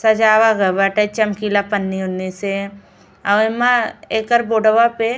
सजावा गए बाटे चमकीला पन्नी-ऊनि से। औ एमा एकर बोर्डवा पे --